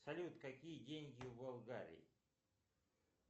салют какие деньги в болгарии